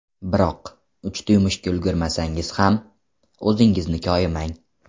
Biroq uchta yumushga ulgurmasangiz ham, o‘zingizni koyimang.